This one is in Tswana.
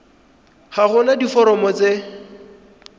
ga go na diforomo tse